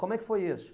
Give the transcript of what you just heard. Como é que foi isso?